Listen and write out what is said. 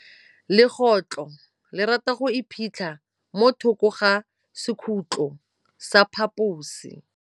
Legôtlô le rata go iphitlha mo thokô ga sekhutlo sa phaposi.